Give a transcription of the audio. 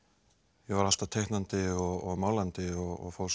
ég var alltaf teiknandi og málandi og fór svo í